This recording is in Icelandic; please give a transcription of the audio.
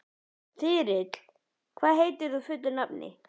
Þyrill, hvað heitir þú fullu nafni?